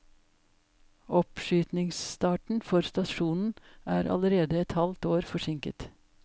Oppskytingsstarten for stasjonen er allerede et halvt år forsinket.